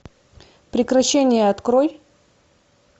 прекращение открой